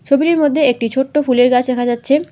ছবিটির মধ্যে একটি ছোট্ট ফুলের গাছ দেখা যাচ্ছে।